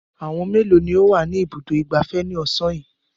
Ọmọ mélòó ni ó wà ní Ibùdó-ìgbafẹ́ ní ọ̀sán yìí?